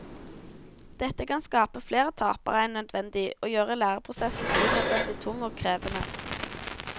Dette kan skape flere tapere enn nødvendig og gjøre læreprosessen unødvendig tung og krevende.